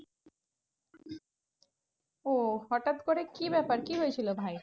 ওহ হটাৎ করে কি ব্যাপার? কি হয়েছিল ভায়ের?